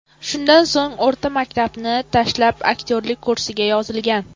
Shundan so‘ng o‘rta maktabni tashlab, aktyorlik kursiga yozilgan.